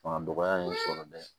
Fanga dɔgɔya in sɔrɔ dɛ